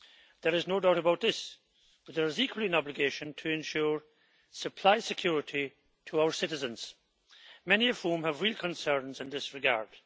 There is no doubt about this, but there is equally an obligation to ensure supply security to our citizens, many of whom have real concerns in this regard.